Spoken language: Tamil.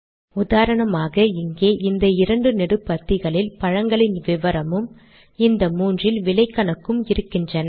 உதாரணமாக இங்கே இந்த இரண்டு நெடுபத்திகளில் பழங்களின் விவரமும் இந்த மூன்றில் விலை கணக்கும் இருக்கின்றன